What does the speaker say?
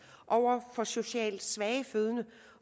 for socialt svage fødende